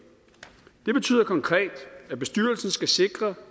det betyder konkret at bestyrelsen skal sikre